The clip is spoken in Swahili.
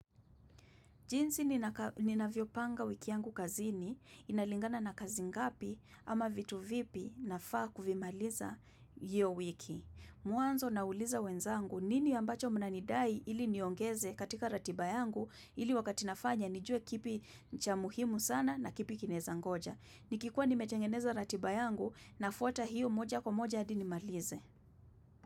Jinsi ninavyopanga wiki yangu kazini, inalingana na kazi ngapi, ama vitu vipi nafaa kuvimaliza hiyo wiki. Mwanzo nauliza wenzangu nini ambacho mnanidai ili niongeze katika ratiba yangu ili wakati nafanya nijue kipi cha muhimu sana, na kipi kinaeza ngoja. Nikikuwa inimetengeneza ratiba yangu nafwata hiyo moja kwa moja adi nimalize.